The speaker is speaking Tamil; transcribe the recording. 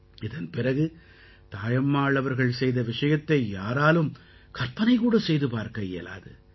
இதன் பிறகு தாயம்மாள் அவர்கள் செய்த விஷயத்தை யாராலும் கற்பனை கூட செய்து பார்க்க இயலாது